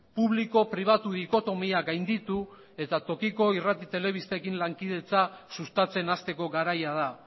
publiko pribatu dikotomia gainditu eta tokiko irrati telebistekin lankidetza sustatzen hasteko garaia da